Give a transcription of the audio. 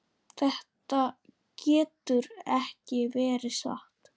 Þetta getur ekki verið satt.